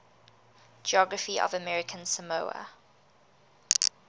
geography of american samoa